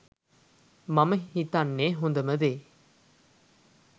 මම හිතන්නේ හොඳම දේ